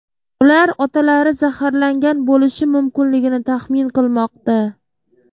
Ular otalari zaharlangan bo‘lishi mumkinligini taxmin qilmoqda.